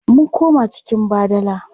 Mun koma cikin badala.